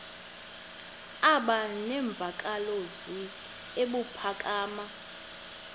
aba nemvakalozwi ebuphakama